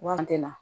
Wari tɛ na